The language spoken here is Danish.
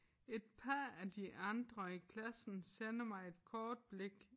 Et par af de andre i klassen sender mig et kort blik